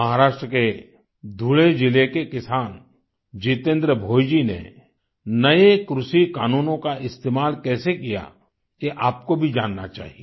महाराष्ट्र के धुले ज़िले के किसान जितेन्द्र भोइजी ने नये कृषि कानूनों का इस्तेमाल कैसे किया ये आपको भी जानना चाहिये